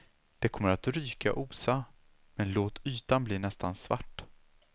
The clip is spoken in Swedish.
Det kommer att ryka och osa, men låt ytan bli nästan svart.